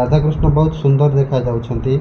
ରାଧାକୃଷ୍ଣ ବୋହୁତ୍ ସୁନ୍ଦର ଦେଖାଯାଉଛନ୍ତି।